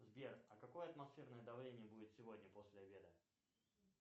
сбер а какое атмосферное давление будет сегодня после обеда